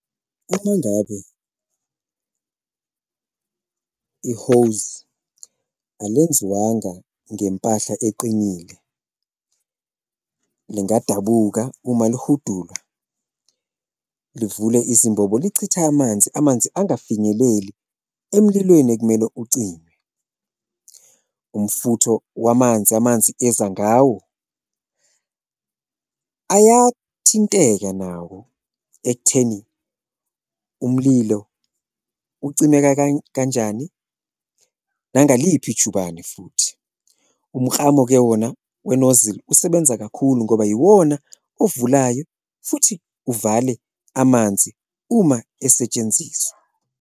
Uma ngabe i-hose alwenziwanga ngempahla eqinile lingadabuka uma lihudulwa livule izimbobo lichithe amanzi, amanzi angafinyeleli emlilweni ekumele ucime, umfutho wamanzi amanzi eza ngawo ayathinteka nawo ekutheni umlilo ucimeka kanjani nangaliphi ijubane futhi. Umklamo-ke wona we-nozzle usebenza kakhulu ngoba yiwona ovulayo futhi uvale amanzi uma esetshenziswa.